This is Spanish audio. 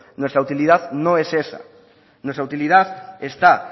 nuestra utilidad no esa nuestra utilidad está